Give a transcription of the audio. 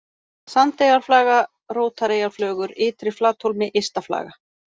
Sandeyjarflaga, Rótareyjarflögur, Ytri-Flathólmi, Ysta-Flaga